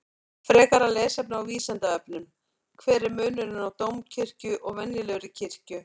Frekara lesefni á Vísindavefnum: Hver er munurinn á dómkirkju og venjulegri kirkju?